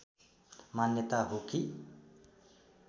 मान्यता हो कि